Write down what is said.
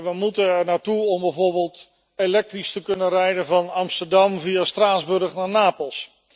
We moeten ernaar streven om bijvoorbeeld elektrisch te kunnen rijden van Amsterdam via Straatsburg naar Napels.